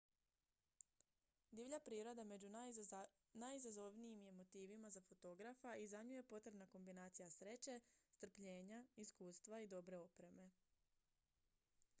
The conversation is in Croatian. divlja priroda među najizazovnijim je motivima za fotografa i za nju je potrebna kombinacija sreće strpljenja iskustva i dobre opreme